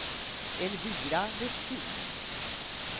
Elvira Vestin